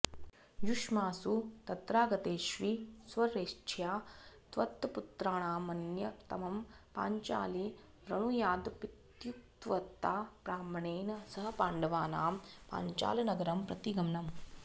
युष्मासु तत्रागतेष्वीश्वरेच्छया त्वत्पुत्राणामन्यतमं पाञ्चाली वृणुयादपीत्युक्तवता ब्राह्मणेन सह पाण्डवानां पाञ्चालनगरं प्रति गमनम्